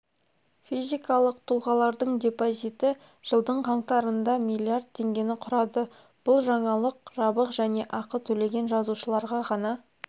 физикалық тұлғалардың депозиті жылдың қаңтарында миллиард теңгені құрады бұл жаңалық жабық және ақы төлеген жазылушыларға ғана